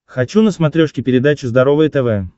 хочу на смотрешке передачу здоровое тв